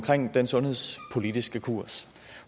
den sundhedspolitiske kurs